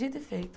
Dito e feito.